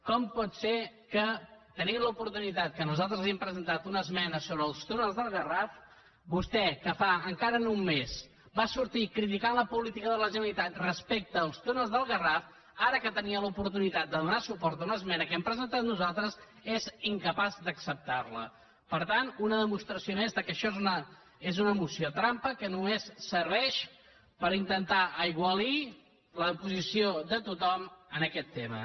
com pot ser que tenint l’oportunitat que nosaltres li hem presentat una esmena sobre els túnels del garraf vostè que fa encara no un mes va sortir criticant la política de la generalitat respecte als túnels del garraf ara que tenia l’oportunitat de donar suport a una esmena que hem presentat nosaltres és incapaç d’acceptar la per tant una demostració més que això és una moció trampa que només serveix per intentar aigualir la posició de tothom en aquest tema